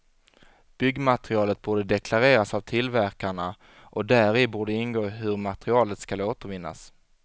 Byggmaterialet borde deklareras av tillverkarna, och däri borde ingå hur materialet skall återvinnas.